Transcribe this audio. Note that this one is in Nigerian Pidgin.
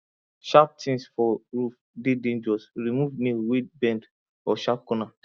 sharp things for roof dey dangerous remove nail wey bend or sharp corner